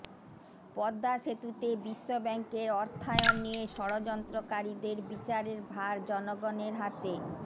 পদ্মা সেতুতে বিশ্বব্যাংকের অর্থায়ন নিয়ে ষড়যন্ত্রকারীদের বিচারের ভার জনগণের হাতে